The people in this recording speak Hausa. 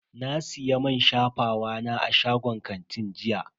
Na siya man shafawa na a shagon kanti jiya.